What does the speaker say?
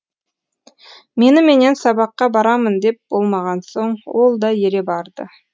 меніменен сабаққа барамын деп болмаған соң ол да ере барды